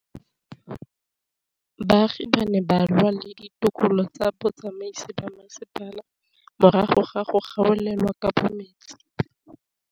Baagi ba ne ba lwa le ditokolo tsa botsamaisi ba mmasepala morago ga go gaolelwa kabo metsi